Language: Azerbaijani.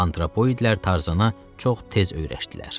Antropoidlər Tarzana çox tez öyrəşdilər.